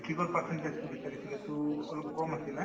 matrix ৰ percentage তো বিচাৰিছিলে to অলপ কম আছিলে